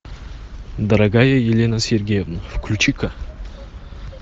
дорогая елена сергеевна включи ка